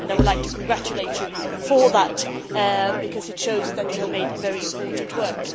I would like to congratulate you on that because it shows that you have done very important work.